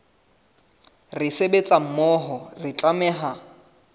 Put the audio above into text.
re sebetsa mmoho re tlameha